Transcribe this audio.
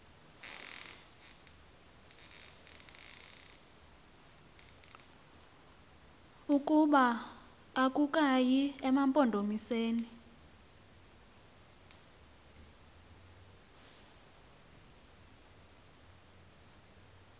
ukuba akukayi emampondomiseni